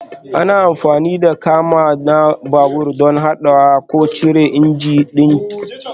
Ana amfani da kama na babur don haɗawa ko cire injin ɗin, clutch ɗin da ya lalace zai sa ya yi muku wahala canza injin ku.